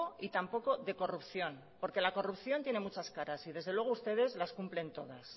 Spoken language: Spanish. y tampoco de corrupción porque la corrupción tiene muchas caras y desde luego ustedes las cumplen todas